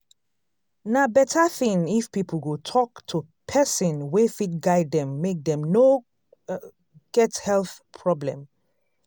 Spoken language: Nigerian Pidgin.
na better thing if people go talk to person wey fit guide dem make dem no get health problem